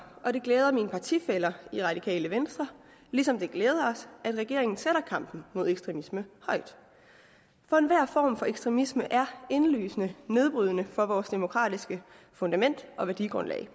og det glæder mine partifæller i radikale venstre ligesom det glæder os at regeringen sætter kampen mod ekstremisme højt for enhver form for ekstremisme er indlysende nedbrydende for vores demokratiske fundament og værdigrundlag